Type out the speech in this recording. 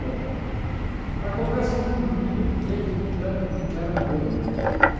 Bom, acontece que no menino eles não de não deram banho depois.